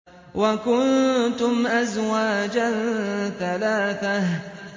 وَكُنتُمْ أَزْوَاجًا ثَلَاثَةً